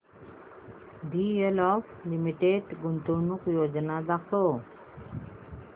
DLF limited गुंतवणूक योजना दाखव